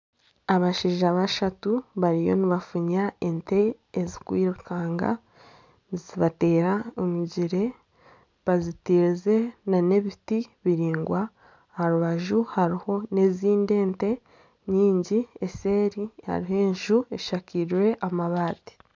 Abashaija bashatu bariyo nibafunya ente ezikwirukanga nizibateera emigyere. Bazitiize nana ebiti biringwa. Aharubaju hariho na ezindi ente nyingi. Eseri hariho enju eshakiize amabaati.